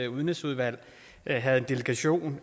udenrigsudvalg havde en delegation